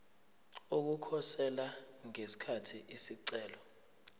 ukukhosela ngesikhathi isicelo